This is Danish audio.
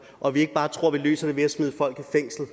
og at vi ikke bare tror vi løser det ved at smide folk i fængsel